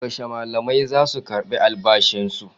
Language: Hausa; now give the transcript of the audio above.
Yaushe malamai zasu karɓi albashin su?